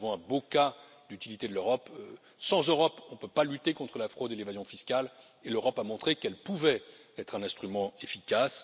Mais là, nous avons un beau cas d'utilité de l'Europe sans Europe, nous ne pouvons pas lutter contre la fraude et l'évasion fiscale, et l'Europe a montré qu'elle pouvait être un instrument efficace.